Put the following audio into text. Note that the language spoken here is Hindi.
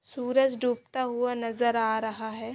सूरज डूबता हुआ नज़र आ रहा है।